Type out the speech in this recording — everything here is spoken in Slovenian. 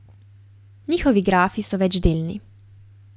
Njihovi grafi so večdelni.